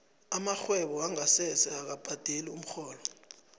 amarhwebo wongasese akabhadeli umrholo